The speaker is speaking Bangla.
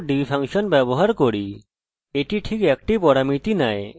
এটি ঠিক 1টি পরামিতি নেয় এবং ওটি হল ডাটাবেসের নাম